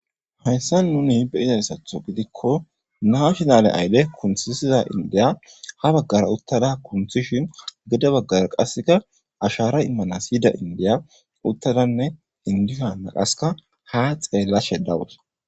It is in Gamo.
Hayssa nuni beizayssatho gidikko naa shinale ayle kunthissiza indiya ha baggara uttada kunthishin gede baggara qasseka ashara immanas yida indiya uttadanne indihanaqaska ha xeellashe dawus.